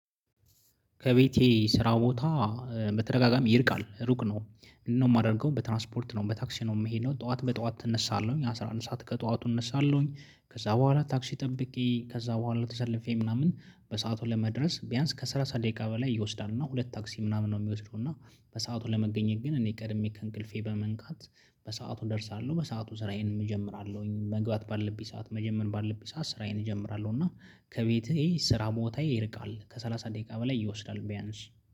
ከቤቴ ስራ ቦታ መተደጋጋሚ ይርቃል ሩቅ ነው ምንድን ነው የማደርገው በትራንስፖርት ነው በታክሲ ነው የምሄደው። ጠዋት በጠዋት እነሳለሁ አስራ አንድ ሰዓት ከጠዋቱ እነሳለሁኝ ከዛ በኋላ ታክሲ ጠብቄ ከዛ በኋላ ተሰልፌ ምናምን በሰአቱ ለመድረስ ቢያንስ ከሰላሳ ደቂቃ በላይ ይወስዳል። እና ሁለት ታክሲ ምናምን ነው የሚወስደው። እና በሰአቱ ለመገኘት ግን እኔ ቀድሜ ከእንቅልፌ በመነሳት በሰአቱ እደርሳለሁ። በሰአቱ ስራዬን እጀምራለሁኝ መግባት ባልብኝ ሰዓት መጀመሪያ ባለብኝ ሰዓት ስራዬን እጀምራለሁ። እና ከቤቴ ስራ ቦታ ይርቃል ከሠላሳ ደቂቃ በላይ ይወስዳል ቢያንስ